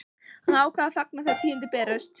Hann ákvað að fagna þegar tíðindin bærust.